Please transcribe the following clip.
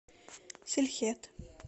силхет